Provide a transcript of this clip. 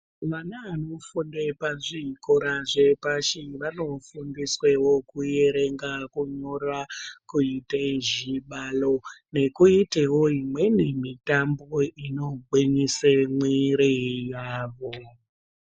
Vana vanofunda pazvikora zvepashi vanofundiswewo kuerenga kunyora kuite zvibaro nekuitewo imweni mitambo inogwinyise mwiiri yavo.